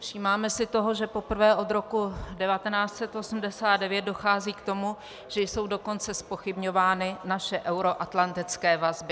Všímáme si toho, že poprvé od roku 1989 dochází k tomu, že jsou dokonce zpochybňovány naše euroatlantické vazby.